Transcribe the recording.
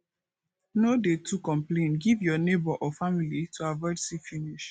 no dey too complain give your neigbour or family to avoid see finish